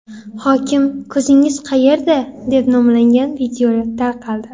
Hokim ko‘zingiz qayerda?” deb nomlangan video tarqaldi .